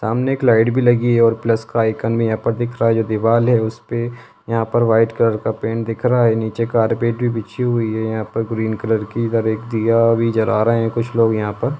सामने एक लाइट भी लगी है और प्लस का आइकन भी यहां पर दिख रहा है जो दीवार है उस पे यहां पर व्हाइट कलर का पेंट दिख रहा है नीचे कारपेट भी बिछी हुई है यहां पर ग्रीन कलर की इधर एक दिया भी जला रहे हैं कुछ लोग यहां पर।